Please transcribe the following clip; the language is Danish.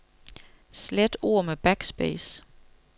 Slet ord med backspace.